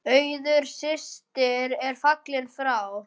Auður systir er fallin frá.